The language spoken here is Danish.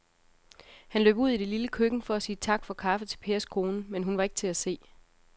Han løb ud i det lille køkken for at sige tak for kaffe til Pers kone, men hun var ikke til at se.